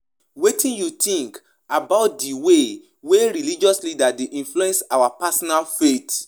You fit talk about di importance of knowing di difference between di word of God and word of man.